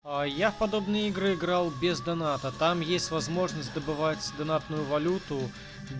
а я подобные игры играл без доната там есть возможность добывать донатную валюту